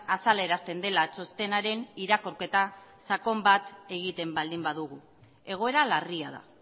azalarazten dela txostenaren irakurketa sakon bat egiten baldin badugu egoera larria da